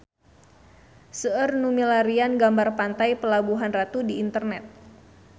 Seueur nu milarian gambar Pantai Pelabuhan Ratu di internet